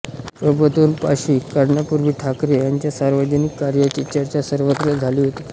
प्रबोधन पाक्षिक काढण्यापूर्वी ठाकरे यांच्या सार्वजनिक कार्यांची चर्चा सर्वत्र झाली होती